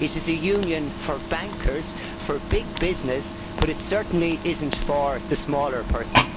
It is a Union for bankers and big business, but certainly not for the smaller person.